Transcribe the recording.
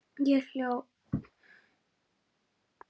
Ég hló lágt.